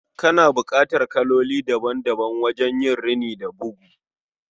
Kana bukatar kaloli daban-daban don rini da bugu